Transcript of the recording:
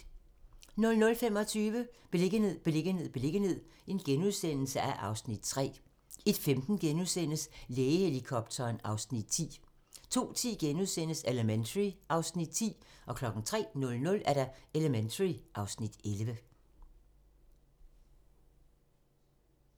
00:25: Beliggenhed, beliggenhed, beliggenhed (Afs. 3)* 01:15: Lægehelikopteren (Afs. 10)* 02:10: Elementary (Afs. 10)* 03:00: Elementary (Afs. 11)